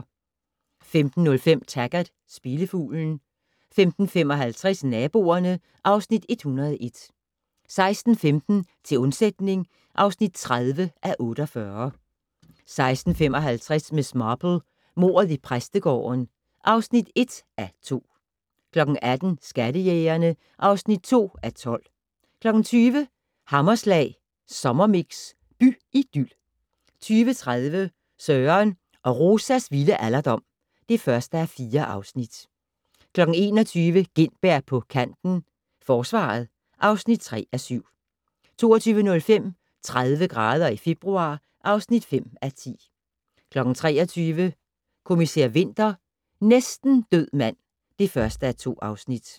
15:05: Taggart: Spillefuglen 15:55: Naboerne (Afs. 101) 16:15: Til undsætning (30:48) 16:55: Miss Marple: Mordet i præstegården (1:2) 18:00: Skattejægerne (2:12) 20:00: Hammerslag Sommermix - by-idyl 20:30: Søren og Rosas vilde alderdom (1:4) 21:00: Gintberg på kanten - Forsvaret (3:7) 22:05: 30 grader i februar (5:10) 23:00: Kommissær Winter: Næsten død mand (1:2)